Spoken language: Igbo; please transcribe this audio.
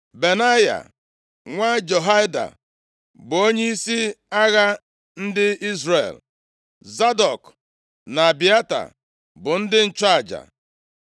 Benaya, nwa Jehoiada bụ onyeisi agha ndị Izrel. Zadọk na Abịata, bụ ndị nchụaja.